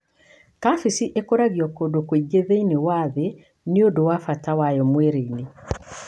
Kabeci ĩkũragio kũndũ kũingĩ thĩinĩe wa thĩ nĩundu wa bata wayo mwĩlĩinĩ.